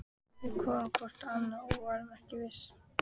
Við horfðum hvort á annað- og vorum ekki viss.